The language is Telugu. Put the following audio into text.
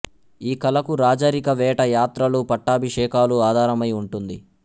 ఈ కళకు రాజరిక వేట యాత్రలు పట్టాభిషేకాలు ఆధారమై ఉంటుంది